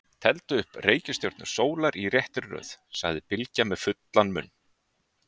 Teldu upp reikistjörnur sólar í réttri röð, sagði Bylgja með fullan munn.